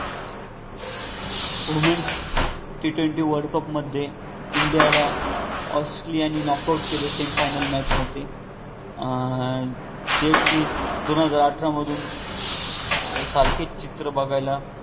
अं womens tentative world cup मध्ये इंडियाला ऑस्ट्रेलियाने knock out केले semi final match मधे अं जे कि दोन हजार अठरामधून सारखेच चित्र बघायला